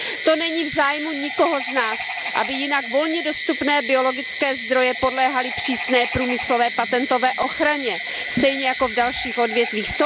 To není v zájmu nikoho z nás, aby jinak volně dostupné biologické zdroje podléhaly přísné průmyslové patentové ochraně stejně jako v dalších odvětvích.